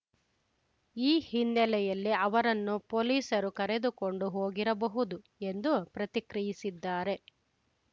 ಈ ಹಿನ್ನೆಲೆಯಲ್ಲಿ ಅವರನ್ನು ಪೊಲೀಸರು ಕರೆದುಕೊಂಡು ಹೋಗಿರಬಹುದು ಎಂದು ಪ್ರತಿಕ್ರಿಯಿಸಿದ್ದಾರೆ